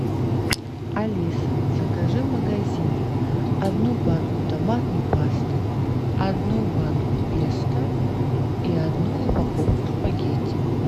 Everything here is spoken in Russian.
алиса закажи в магазине одну банку томатной пасты одну банку песто и одну упаковку спагетти